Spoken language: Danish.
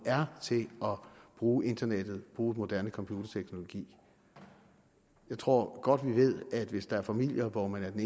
er til at bruge internettet at bruge moderne computerteknologi jeg tror godt at ved at hvis der er familier hvor man af den